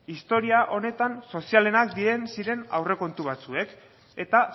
historia honetan sozialenak ziren aurrekontu batzuek eta